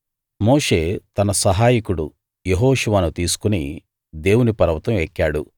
మోషే తన సహాయకుడు యెహోషువను తీసుకుని దేవుని పర్వతం ఎక్కాడు